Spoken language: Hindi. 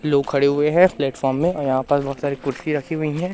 लोग खड़े हुए हैं प्लेटफार्म में अ यहां पास बहोत सारी कुर्सी रखी हुई है।